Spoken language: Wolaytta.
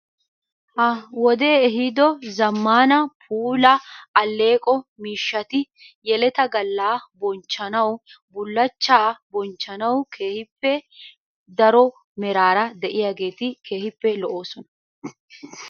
Ha wodee ehiido zammaana puula alleeqo miishati yeleta galla bonchchanawu, bullachchaa bonchchanawu keehippe daro meraara de"iyaageeti keehippe lo"oosona.